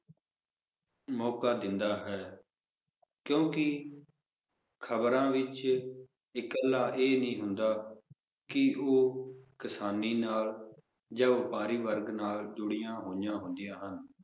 ਮੌਕਾ ਦਿੰਦਾ ਹੈ ਕਿਉਂਕਿ ਖਬਰਾਂ ਵਿਚ ਇਕੱਲਾ ਇਹ ਨਹੀਂ ਹੁੰਦਾ ਕਿ ਉਹ ਕਿਸਾਨੀ ਨਾਲ ਜਾਂ ਵਪਾਰੀ ਵਰਗ ਨਾਲ ਜੁੜੀਆਂ ਹੋਈਆਂ ਹੁੰਦੀਆਂ ਹਨ